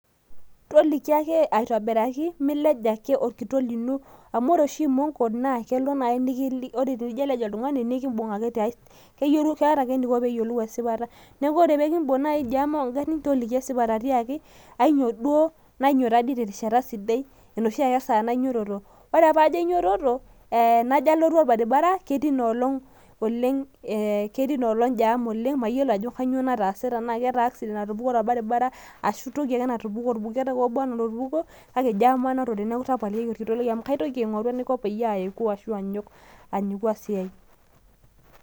toliki ake aitoobiraki milej ake orkitok lino, amu ore oshi imonko, kelo naaji nijo alej oltungani, nikibung ake tiay, keyiolou keeta ake eneiko pee eyiolou esipata, neeku ore pee kibung naaji jam oogarin toliki akeyie esipata, tiaki anyioo duoo, nainyio tadii terishata sidai enoshi ake saa nainyiototo, ore ake pee ajo ainyitoto najo alotu orbaribara ketii ina olong jam oleng',mayiolo ajo kanyioo nataase. neeku jam anotore neeku tapalikiaki orkitok lai amu katoki ainguraa anaiko peyie ayaeku, ajing'u esiai.